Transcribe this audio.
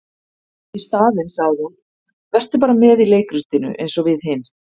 Í staðinn sagði hún:- Vertu bara með í leikritinu eins og við hin.